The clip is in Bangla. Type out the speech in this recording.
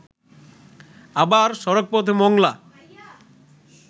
আবার সড়ক পথে মংলা